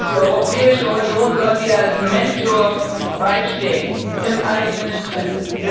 Die Europäische Union sollte ihr als Mentor beistehen, im eigenen Interesse.